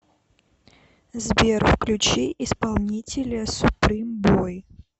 сбер включи исполнителя суприм бой